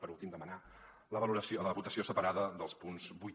per últim demanar la votació separada dels punts vuit